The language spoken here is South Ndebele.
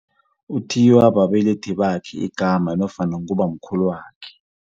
Uthiyiwa babelethi bakhe igama nofana ngubamkhulwakhe.